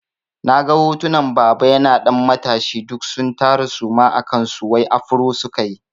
Na ga hotunan baba yana ɗan matashi duk sun tara suma a kansu wai afro sukayi.